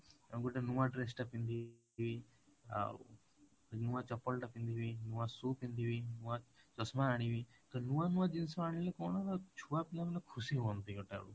ତମେ ଗୋଟେ ନୂଆ dress ଟା ପିନ୍ଧି ଆଉ ନୂଆ ଚପଲ ଟା ପିନ୍ଧିବି ନୂଆ shoe ଟା ପିନ୍ଧିବି ନୂଆ ଚଷମା ଆଣିବି ତ ନୂଆ ନୂଆ ଜିନିଷ ଆଣିଲେ ନ କଣ ନା ଛୁଆ ପିଲା ମାନେ ଖୁସି ହୁଅନ୍ତି ଗୋଟେ ଆଡୁ